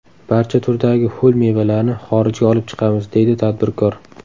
Barcha turdagi ho‘l mevalarni xorijga olib chiqamiz”, deydi tadbirkor.